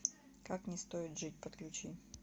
как не стоит жить подключи